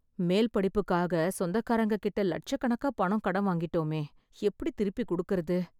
மேல்படிப்புக்காக சொந்தக்காரங்ககிட்ட லட்சக்கணக்கா பணம் கடன் வாங்கிட்டோமே... எப்டி திருப்பிக் கொடுக்கறது?